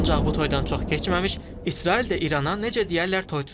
Ancaq bu toydan çox keçməmiş İsrail də İrana necə deyərlər toy tutdu.